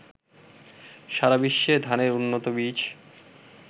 সারাবিশ্বে ধানের উন্নত বীজ